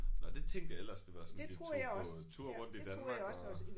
Nåh det tænkte jeg ellers det var sådan de tog på tur rundt i Danmark og